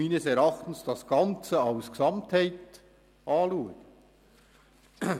Meines Erachtens muss man diesen Abschnitt als Gesamtheit betrachten.